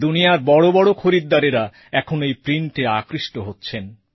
দুনিয়ার বড় বড় খরিদ্দারেরা এখন এই প্রিন্টে আকৃষ্ট হচ্ছেন